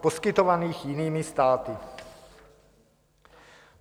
poskytovaných jinými státy.